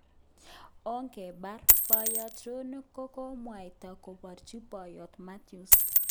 Ongebar ," boyot Rono kokokomwaita komwochin boyo Matias.